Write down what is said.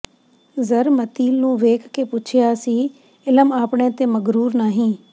ਜ਼ਰਿਮਤੀਲ ਨੂੰ ਵੇਖ ਕੇ ਪੁੱਛਿਆ ਸੀ ਇਲਮ ਆਪਣੇ ਤੇ ਮਗ਼ਰੂਰ ਨਾਹੀਂ